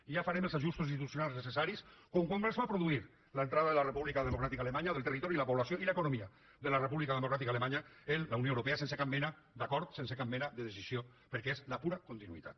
i ja farem els ajustos institucionals necessaris com quan es va produir l’entrada de la república democràtica alemanya del territori i la població i l’economia de la república democràtica alemanya en la unió europea sense cap mena d’acord sense cap mena de decisió perquè és la pura continuïtat